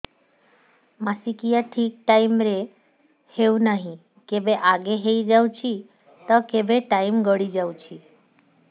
ମାସିକିଆ ଠିକ ଟାଇମ ରେ ହେଉନାହଁ କେବେ ଆଗେ ହେଇଯାଉଛି ତ କେବେ ଟାଇମ ଗଡି ଯାଉଛି